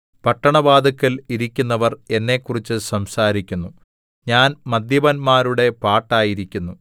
പട്ടണവാതില്ക്കൽ ഇരിക്കുന്നവർ എന്നെക്കുറിച്ച് സംസാരിക്കുന്നു ഞാൻ മദ്യപന്മാരുടെ പാട്ടായിരിക്കുന്നു